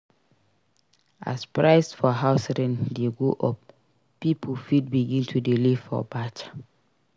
As price for house rent de go up pipo fit begin to de live for batcha